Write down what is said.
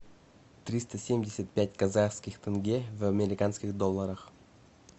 триста семьдесят пять казахских тенге в американских долларах